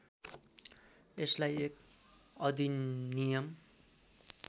यसलाई एक अधिनियम